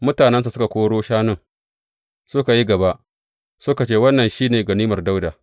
Mutanensa suka koro shanun, suka yi gaba, suka ce, Wannan shi ne ganimar Dawuda.